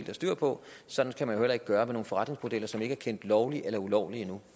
har styr på og sådan kan man jo heller ikke gøre det med forretningsmodeller som ikke er kendt lovlige eller ulovlige endnu